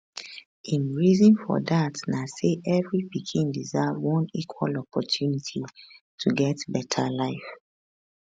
im reason for dat na say every pikin deserve one equal opportunity to get beta life